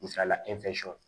Misalila